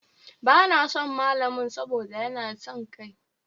Ba na son malamin saboda ya na son kai.